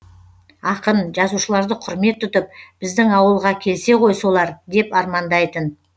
ақын жазушыларды құрмет тұтып біздің ауылға келсе ғой солар деп армандайтын